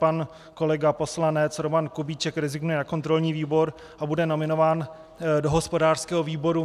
Pan kolega poslanec Roman Kubíček rezignuje na kontrolní výbor a bude nominován do hospodářského výboru.